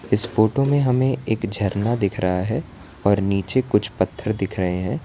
इस फोटो में हमें एक झरना दिख रहा है और नीचे कुछ पत्थर दिख रहे हैं।